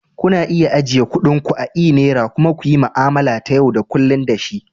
Kuna iya ajiye kuɗin ku a e-naira kuma ku yi mu'amala ta yau da kullun da shi.